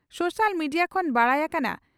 social media ᱠᱷᱚᱱ ᱵᱟᱰᱟᱭ ᱟᱠᱟᱱᱟ